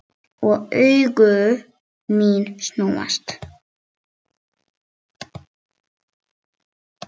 Og augu mín snúast.